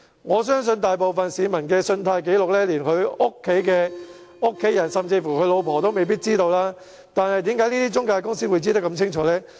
我相信大部分市民的信貸紀錄，連家人甚至是妻子也未必知道，但為何中介公司會如此一清二楚？